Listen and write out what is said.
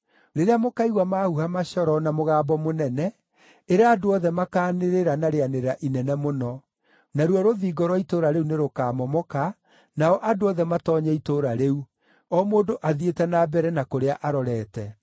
Rĩrĩa mũkaigua mahuha macoro na mũgambo mũnene, ĩra andũ othe makaanĩrĩra na rĩanĩrĩra inene mũno; naruo rũthingo rwa itũũra rĩu nĩrũkamomoka, nao andũ othe matoonye itũũra rĩu, o mũndũ athiĩte na mbere na kũrĩa arorete.”